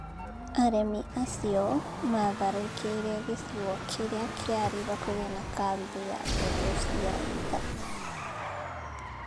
Aremi acio maatharĩkĩire gĩcigo kĩrĩa kĩarĩ hakuhĩ na kambĩ ya mbũtũ cia ita.